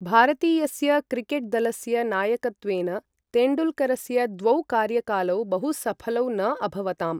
भारतीयस्य क्रिकेट् दलस्य नायकत्वेन तेण्डुलकरस्य द्वौ कार्यकालौ बहु सफलौ न अभवताम्।